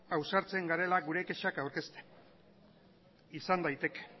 ausartzen garela gure kexak aurkezten izan daiteke